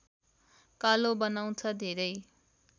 कालो बनाउँछ धेरै